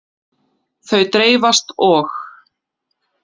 Þau dreifast og.